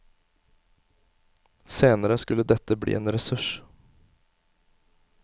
Senere skulle dette bli en ressurs.